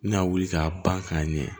N bɛna wuli k'a ban k'a ɲɛ